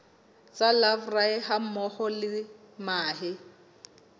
tsa larvae hammoho le mahe